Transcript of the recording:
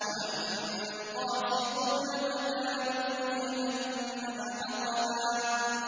وَأَمَّا الْقَاسِطُونَ فَكَانُوا لِجَهَنَّمَ حَطَبًا